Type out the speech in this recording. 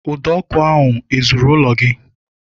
Ụdọ ọkụ ahụ ezuru ụlọ gị?